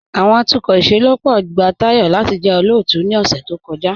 Awọn atukọ ìṣẹlọ́pọ̀ gba Tayọ̀ lati jẹ́ olóótù ni ọ̀ṣẹ̀ tó kọja.